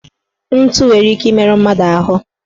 Ntụ nwere ike imeru mmadụ ahụ